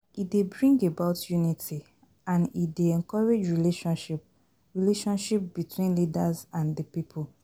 E dey bring about unity and e dey encourage relationship relationship between leaders and di people